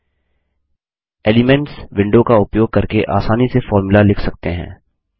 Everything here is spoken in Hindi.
एलिमेंट्स एलिमेंट्स विंडो का उपयोग करके आसानी से फोर्मुला लिख सकते हैं